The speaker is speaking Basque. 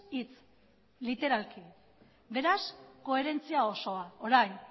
hitz literalki beraz koherentzia osoa orain